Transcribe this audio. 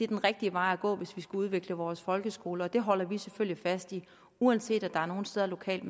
den rigtige vej at gå hvis vi skal udvikle vores folkeskoler og det holder vi selvfølgelig fast i uanset at der er nogle steder lokalt